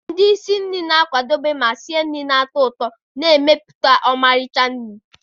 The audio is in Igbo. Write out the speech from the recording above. Ndị isi nri na-akwadebe ma sie nri ndị na-atọ ụtọ, na-emepụta ọmarịcha nri.